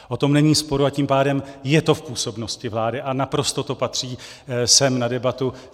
O tom není sporu, a tím pádem je to v působnosti vlády a naprosto to patří sem na debatu.